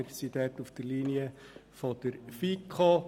Wir sind auf der Linie der FiKo.